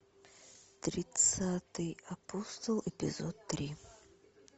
тридцатый апостол эпизод три